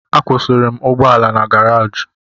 Akwụsịrị m ụgbọala na garaji